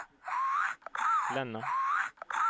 Länna